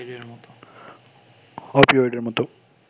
অপিওয়েডের মতো